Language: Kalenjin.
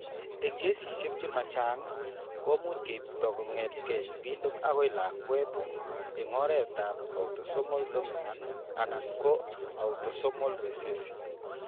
Eng' kesishek che ma chang', komuch keipto kong'etke sigindet akoi lakwet eng' oretab autosomal dominant anan ko autosomal recessive.